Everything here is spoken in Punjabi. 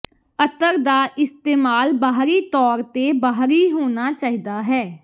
ਅਤਰ ਦਾ ਇਸਤੇਮਾਲ ਬਾਹਰੀ ਤੌਰ ਤੇ ਬਾਹਰੀ ਹੋਣਾ ਚਾਹੀਦਾ ਹੈ